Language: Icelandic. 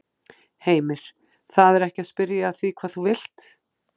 Heimir: Það er ekki að spyrja að því hvað þú vilt?